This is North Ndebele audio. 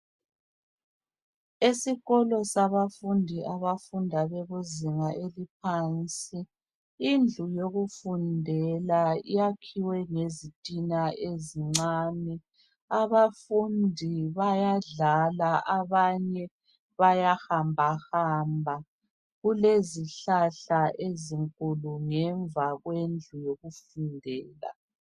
Esikolo sabafundi, sabafundi, abafunda bekuzinga eliphansi. Indlu yokufundela yakhiwe ngezitina ezincane. Abafundi bayadlala. Abanye bayahambahamba. Kulezihlahla ezinkulu, ngemva kwendlu yokufundela.